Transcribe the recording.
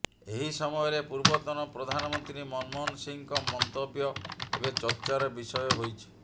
ଏହି ସମୟରେ ପୂର୍ବତନ ପ୍ରଧାନମନ୍ତ୍ରୀ ମନମୋହନ ସିଂଙ୍କ ମନ୍ତବ୍ୟ ଏବେ ଚର୍ଚ୍ଚାର ବିଷୟ ହୋଇଛି